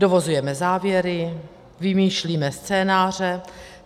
Dovozujeme závěry, vymýšlíme scénáře.